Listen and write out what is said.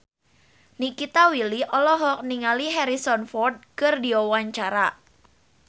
Nikita Willy olohok ningali Harrison Ford keur diwawancara